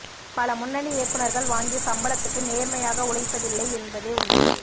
பல முன்னணி இயக்குநர்கள் வாங்கிய சம்பளத்துக்கு நேர்மையாக உழைப்பதில்லை என்பதே உண்மை